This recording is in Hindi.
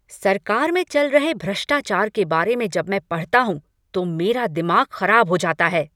सरकार में चल रहे भ्रष्टाचार के बारे में जब मैं पढ़ता हूँ तो मेरा दिमाग खराब हो जाता है।